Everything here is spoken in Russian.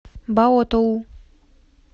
баотоу